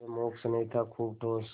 यह मूक स्नेह था खूब ठोस